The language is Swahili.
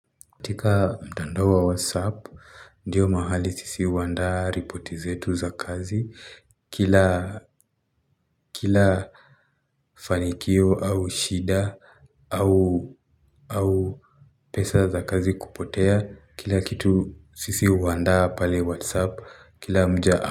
Katika mtandao wa whatsapp, ndiyo mahali sisi huandaa ripoti zetu za kazi, kila, kila fanikio au shida, au, au pesa za kazi kupotea, kila kitu sisi huandaa pale whatsapp, kila mja.